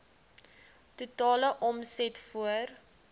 totale omset voor